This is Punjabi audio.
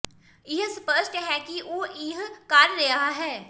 ਇਹ ਸਪੱਸ਼ਟ ਹੈ ਕਿ ਉਹ ਇਹ ਕਰ ਰਿਹਾ ਹੈ